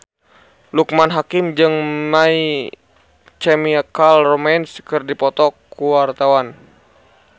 Loekman Hakim jeung My Chemical Romance keur dipoto ku wartawan